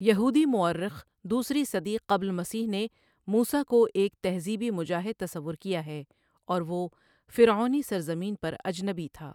یہودی مؤرخ دوسری صدی قبل مسیح نے موسیٰ کو ایک تہذیبی مجاہد تصور کیا ہے اور وہ فروعونی سرزمین پر اجنبی تھا ۔